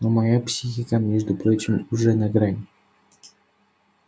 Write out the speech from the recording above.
но моя психика между прочим уже на грани